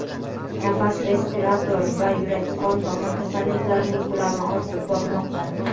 nafas respirator va yurak-qon tomir kasalliklarining ko‘lami ortib bormoqda.